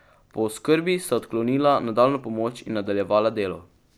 Po oskrbi sta odklonila nadaljnjo pomoč in nadaljevala delo.